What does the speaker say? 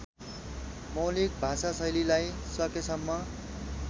मौलिक भाषाशैलीलाई सकेसम्म